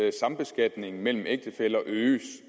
at sambeskatningen mellem ægtefæller øges